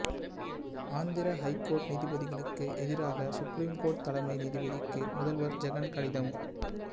Andhra high court நீதிபதிகளுக்கு எதிராக supreme court தலைமை நீதிபதிக்கு முதல்வர் ஜெகன் கடிதம்